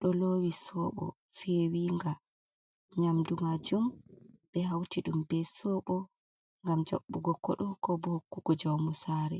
Ɗo lowi sobo fewinga. Nyamɗu majum ɓe hauti ɗum ɓe sobo, ngam jaɓɓugo koɗo, ko ɓo hokkugo jaumu sare.